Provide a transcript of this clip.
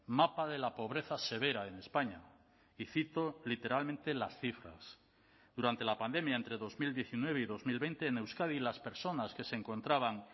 mapa de la pobreza severa en españa y cito literalmente las cifras durante la pandemia entre dos mil diecinueve y dos mil veinte en euskadi las personas que se encontraban